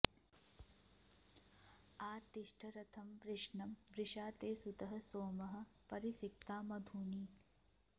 आ तिष्ठ रथं वृषणं वृषा ते सुतः सोमः परिषिक्ता मधूनि